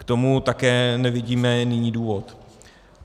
K tomu také nevidíme nyní důvod.